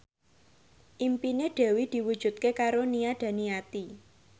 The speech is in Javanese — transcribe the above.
impine Dewi diwujudke karo Nia Daniati